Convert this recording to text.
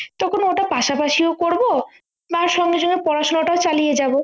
তখন ওটা পাশাপাশিও করবো বা সঙ্গে সঙ্গে পড়াশুনাটাও চালিয়ে যাবো